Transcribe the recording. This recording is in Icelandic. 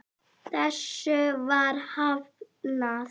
Þessu var hafnað.